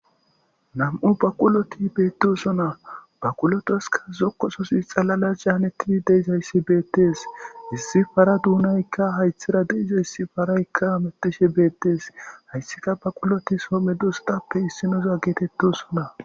Nam'u baaqulloti bettosona baqulotasi zokosoy xalala canetidi deizayssi bettes issi para dunaykka hayththera dizayssi parayka hamutishe bettes hayssika baqquloti soho medossatappe issinoza ggettetosona.